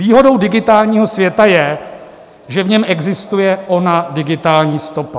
Výhodou digitálního světa je, že v něm existuje ona digitální stopa.